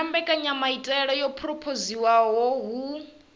na mbekanyamaitele yo phurophoziwaho hu